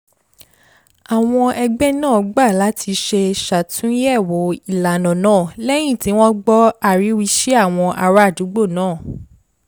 àwọn ẹgbẹ́ náà gbà láti ṣe ṣàtúnyẹ̀wò ìlànà náà lẹ́yìn tí wọ́n gbọ́ ariwisi àwọn ará àdúgbò naa